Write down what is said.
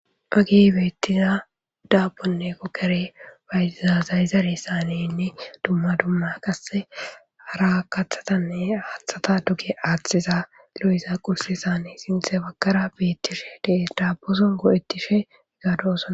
Mage beettiza daabonne kokkere bayiza zayzare saanenne dumma dumma qasse hara kathatanne aaththata duge aaththiza gilo7iza qurse saane sinthe bakara beettishe dee daabboson godettishe gaadosona.